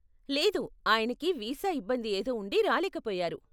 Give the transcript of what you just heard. లేదు, ఆయనకి వీసా ఇబ్బంది ఏదో ఉండి రాలేకపోయారు.